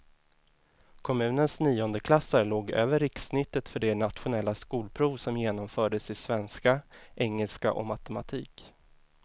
Kommunens niondeklassare låg över rikssnittet för det nationella skolprov som genomfördes i svenska, engelska och matematik.